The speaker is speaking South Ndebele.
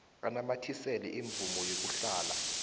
anamathisele imvumo yokuhlala